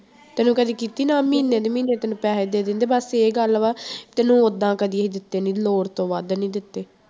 ਤੈਨੂੰ ਕਦੇ ਕੀਤੀ ਮੈਂ ਮਹੀਨੇ ਦੀ ਮਹੀਨੇ ਤੈਨੂੰ ਪੈਸੇ ਦੇ ਦਿੰਦੇ ਬਸ ਇਹ ਗੱਲ ਵਾ ਤੈਨੂੰ ਓਦਾਂ ਕਦੇ ਅਸੀਂ ਦਿੱਤੇ ਨੀ ਲੋੜ ਤੋਂ ਵੱਧ ਨੀ ਦਿੱਤੇ।